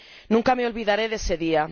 Nunca me olvidaré de ese día.